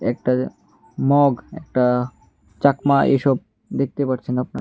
একটা যা মগ একটা চাকমা এসব দেখতে পাচ্ছেন আপনার--